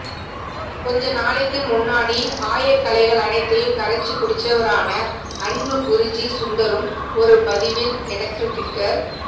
கொஞ்ச நாளைக்கு முன்னாடி ஆயகலைகள் அனைத்தையும் கரைச்சு குடிச்சவரான அன்பு குருஜி சுந்தரும் ஒரு பதிவில் எனக்கு ட்விட்டர்